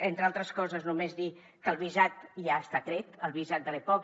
entre altres coses només dir que el visat ja està tret el visat de l’mpoc